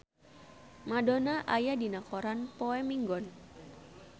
Madonna aya dina koran poe Minggon